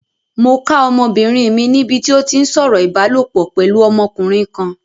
Mo ká ọmọbìnrin mi níbi tí ó ti ń sọ̀rọ̀ ìbálopọ̀ pẹ̀lú ọmọkùnrin kan.